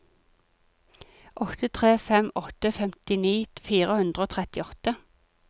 åtte tre fem åtte femtini fire hundre og trettiåtte